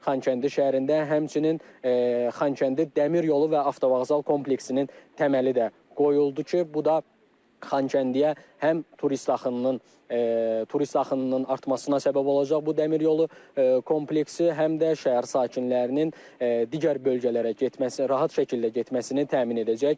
Xankəndi şəhərində həmçinin Xankəndi Dəmir Yolu və Avtovağzal kompleksinin təməli də qoyuldu ki, bu da Xankəndiyə həm turist axınının turist axınının artmasına səbəb olacaq bu dəmir yolu kompleksi, həm də şəhər sakinlərinin digər bölgələrə getməsinin, rahat şəkildə getməsini təmin edəcək.